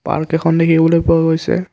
Park এখন দেখিবলৈ পোৱা গৈছে।